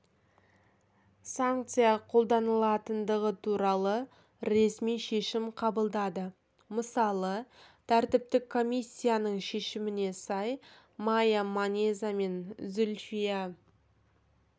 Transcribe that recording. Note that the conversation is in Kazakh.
санкция қолданылатындығы туралы ресми шешім қабылдады мысалы тәртіптік комиссиясының шешіміне сай майя манеза мен зульфия